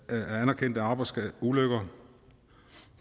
anerkendte arbejdsulykker